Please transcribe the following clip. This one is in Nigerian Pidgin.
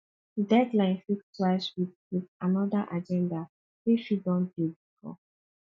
deadline fit clash wit wit anoda agenda wey fit don dey bifor